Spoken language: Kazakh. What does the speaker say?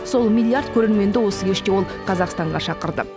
сол миллиард көрерменді осы кеште ол қазақстанға шақырды